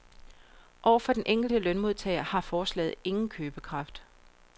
Over for den enkelte lønmodtager har forslaget ingen købekraft.